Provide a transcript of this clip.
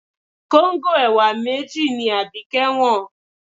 Kóńgò ẹ̀wà méjì ni Abike wọ́n.